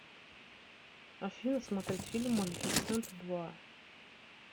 афина смотреть фильм малифисента два